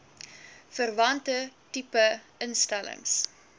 verwante tipe instellings